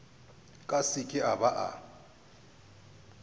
ka seke a ba a